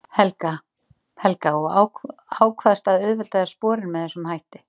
Helga: Og ákvaðst að auðvelda þér sporin með þessum hætti?